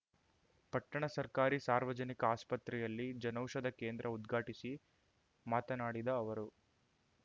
ಪಟ್ಟಣ ಸರ್ಕಾರಿ ಸಾರ್ವಜನಿಕ ಆಸ್ಪತ್ರೆಯಲ್ಲಿ ಜನೌಷಧ ಕೇಂದ್ರ ಉದ್ಘಾಟಿಸಿ ಮಾತನಾಡಿದ ಅವರು